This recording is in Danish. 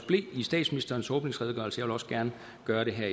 blev i statsministerens åbningsredegørelse vil også gerne gøre det her